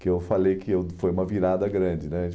que eu falei que eu foi uma virada grande, né?